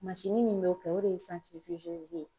mansinin be ko o de ye santiri de zoze ye